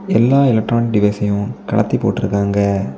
எல்லா electronic device சையும் கழட்டி போட்ருக்காங்க.